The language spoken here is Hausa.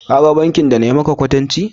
ka gan bankin da na yi maka kwatanci?